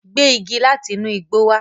Gbé igi lati inu igbo wá!